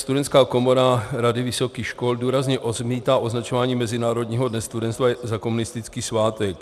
Studentská komora Rady vysokých škol důrazně odmítá označování Mezinárodního dne studentstva za komunistický svátek.